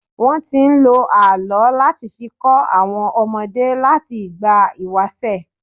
Wọ́n ti ń lo àlọ́ láti fi kọ́ àwọn ọmọdé láti ìgbà ìwàṣẹ̀.